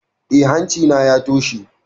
Eh, hanci na ya toshe